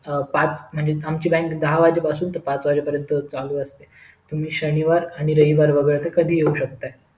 पाच म्हणजे आमची बँक दहा वाजेपासून ते पाच वाजेपर्यंत चालु असते तुम्ही शनिवार आणि रविवार वगळता कधीही येऊ शकता